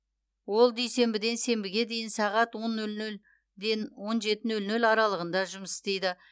ол дүйсенбіден сенбіге дейін сағат он нөл нөлден он жеті нөл нөл аралығында жұмыс істейді